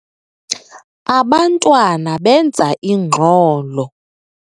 Abantwana benza ingxolo.